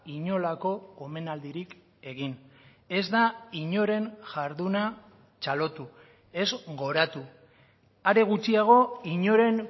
inolako omenaldirik egin ez da inoren jarduna txalotu ez goratu are gutxiago inoren